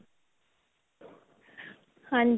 ਹਾਂਜੀ